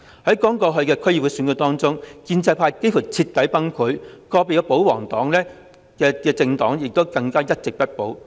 在剛過去的區議會選舉中，建制派幾乎徹底崩潰，個別保皇派的政黨更加是一席也不保。